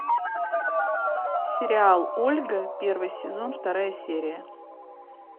сериал ольга первый сезон вторая серия